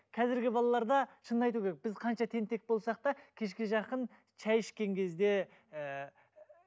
қазіргі балаларда шынын айту керек біз қанша тентек болсақ та кешке жақын шай ішкен кезде ііі